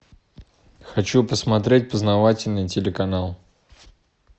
хочу посмотреть познавательный телеканал